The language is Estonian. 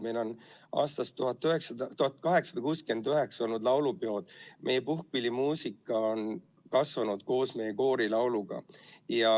Meil on aastast 1869 olnud laulupeod, meie puhkpillimuusika on kasvanud koos meie koorilauluga.